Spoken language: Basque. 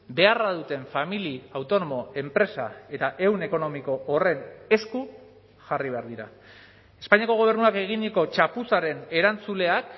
beharra duten familia autonomo enpresa eta ehun ekonomiko horren esku jarri behar dira espainiako gobernuak eginiko txapuzaren erantzuleak